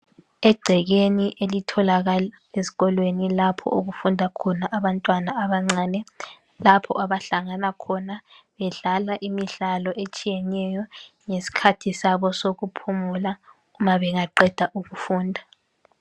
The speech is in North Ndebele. Egcekeni elitholakala ezikolweni lapho okufunda khona abantwana abancane lapho abahlangana khona bedlala imidlalo etshiyeneyo ngesikhathi sabo sokuphumula ma bengaqeda ukufunda.